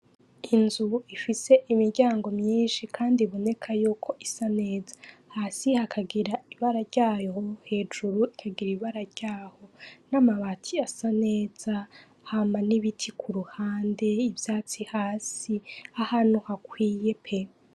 Inzu ifise imiryango myinshi kandi iboneka yuko isa neza, hasi hakagira ibara ryaho, hejuru hakagira ibara ryaho n'amabati asa neza hama n'ibiti kuruhande, ivyatsi hasi ahantu hakwiye pe!